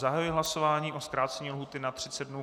Zahajuji hlasování o zkrácení lhůty na 30 dnů.